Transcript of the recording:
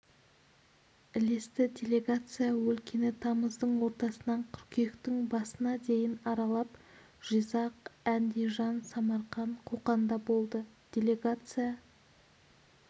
ілесті делегация өлкені тамыздың ортасынан қыркүйектің басына дейін аралап жизақ әндижан самарқан қоқанда болды делегация